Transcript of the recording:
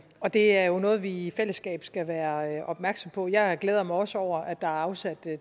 og det er jo noget vi i fællesskab skal være opmærksomme på jeg glæder mig også over at der er afsat